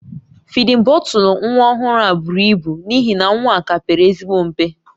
Fidin bọtụlụ nwa ọhụrụ a buru ibu n'ihi na nwa ka pere ezigbo mpe